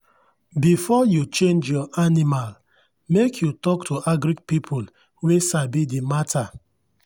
before you change your animal make you talk to agric people wey sabi the matter.